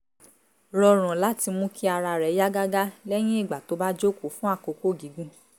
rọrùn láti mú kí ara rẹ̀ yá gágá leyin igbà tó bá jókòó fún àkókò gígùn